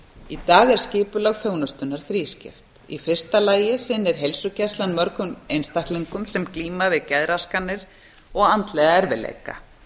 í dag er skipulag þjónustunnar þrískipt í fyrsta lagi sinnir heilsugæslan mörgum einstaklingum sem glíma við geðraskanir og andlega erfiðleika